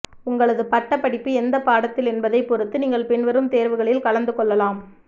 உங்களது பட்ட படிப்பு எந்த பாடத்தில் என்பதை பொறுத்து நீங்கள் பின்வரும் தேர்வுகளில் கலந்து கொள்ளலாம்